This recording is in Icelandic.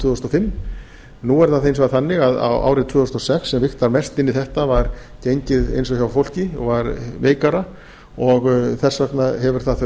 þúsund og fimm nú er það hins vegar þannig að árið tvö þúsund og sex sem vigtar mest inn í þetta var gengið eins og hjá fólki var veikara og þess vegna hefur það þau